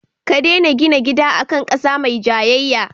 Ka dena gina gidan a kan ƙasa mai jayayya